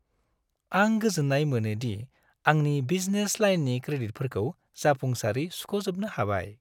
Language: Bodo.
आं गोजोननाय मोनो दि आंनि बिजनेस लाइननि क्रेडिटफोरखौ जाफुंसारै सुख'जोबनो हाबाय।